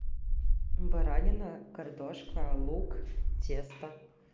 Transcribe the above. баранина картошка лук тесто